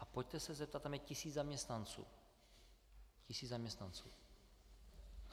A pojďte se zeptat - tam je tisíc zaměstnanců, tisíc zaměstnanců.